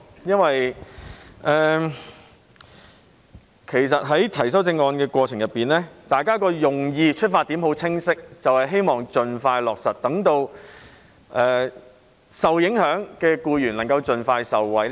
因為在提出修正案的過程中，大家的用意及出發點均很清晰，就是希望盡快落實措施，讓受影響的僱員能夠盡快受惠。